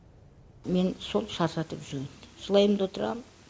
мені сол шаршатып жүрген жылаймын да отырамын